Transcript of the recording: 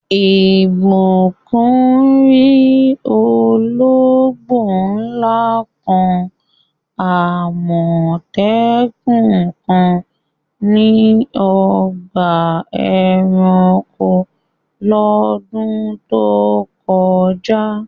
Ìbùkún rí ológbò ńlá kan, Àmọ̀tẹ́kùn kan ní ọgbà ẹranko lọ́dún tó kọjá.